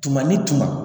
Tuma ni tuma